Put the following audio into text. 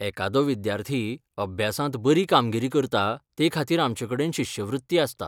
एकादो विद्यार्थी अभ्यासांत बरी कामगिरी करता तेखातीर आमचेकडेन शिश्यवृत्ती आसता.